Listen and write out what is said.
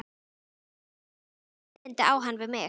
ÞORVALDUR: Hvaða erindi á hann við mig?